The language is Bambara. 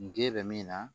N ge bɛ min na